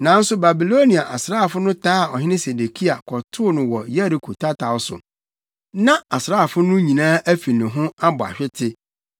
Nanso Babilonia asraafo no taa Ɔhene Sedekia kɔtoo no wɔ Yeriko tataw so. Na nʼasraafo no nyinaa afi ne ho abɔ ahwete,